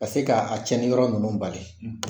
Ka se kaa a tiɲɛniyɔrɔ nunnu bali.